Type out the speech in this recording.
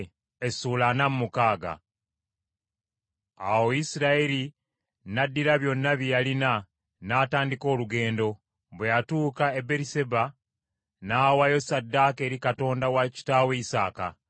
Awo Isirayiri n’addira byonna bye yalina, n’atandika olugendo; bwe yatuuka e Beriseba n’awaayo ssaddaaka eri Katonda wa kitaawe Isaaka.